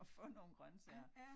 At få nogle grøntsager